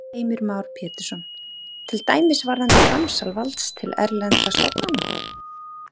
Heimir Már Pétursson: Til dæmis varðandi framsal valds til erlendra stofnana?